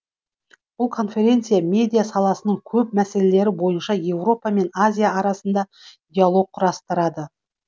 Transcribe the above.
бұл конференция медиа саласының көп мәселелері бойынша еуропа мен азия арасында диалог құрастырады